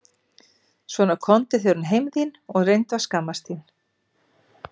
Svona komdu þér nú heim þín og reyndu að skammast þín!